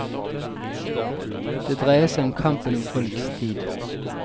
Det dreier seg om kampen om folks tid.